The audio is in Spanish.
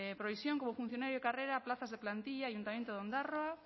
provisión como funcionario de carrera plazas de plantilla ayuntamiento de ondarroa